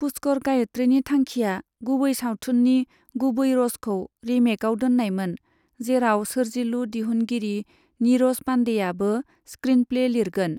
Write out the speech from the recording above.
पुष्कर गायत्रिनि थांखिआ गुबै सावथुननि गुबै रसखौ रिमेकआव दोननायमोन, जेराव सोर्जिलु दिहुनगिरि निरज पान्डेआबो स्क्रिनप्ले लिरगोन।